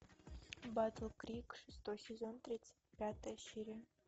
батл крик шестой сезон тридцать пятая серия